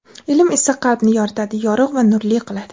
ilm esa qalbni yoritadi – yorugʼ va nurli qiladi;.